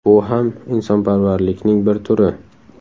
Bu ham insonparvarlikning bir turi.